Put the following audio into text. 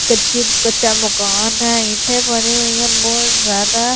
कच्ची कच्चा मकान है ईंठे भरी हुई है बहुत ज्यादा--